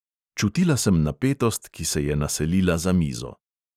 Čutila sem napetost, ki se je naselila za mizo.